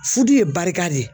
Furu ye barika de ye